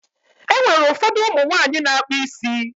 E nwere ụfọdụ ụmụ nwaanyị na-akpụ isi.